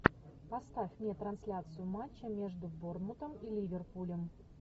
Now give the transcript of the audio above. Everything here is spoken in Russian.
поставь мне трансляцию матча между борнмутом и ливерпулем